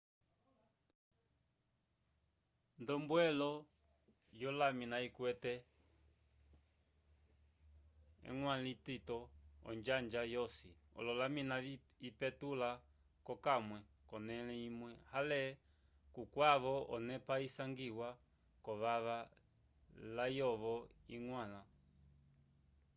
nd'ombwelo yolamina ikwete eñgwãlo litito onjanja yosi olamina ipetula p'okamwe k'onẽle imwe ale kukwavo onepa isangiwa v'ovava layovo iñgwãla